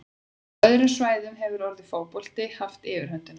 Á öðrum svæðum hefur orðið fótbolti haft yfirhöndina.